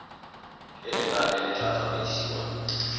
e lenane le tla tsamaisiwang